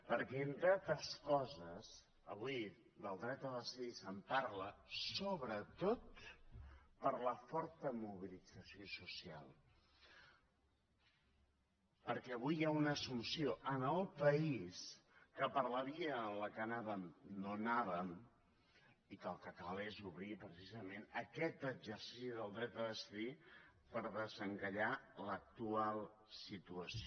perquè entre altres coses avui del dret a decidir se’n parla sobretot per la forta mobilització social perquè avui hi ha una assumpció en el país que per la via en què anàvem no anàvem i que el que cal és obrir precisament aquest exercici del dret a decidir per desencallar l’actual situació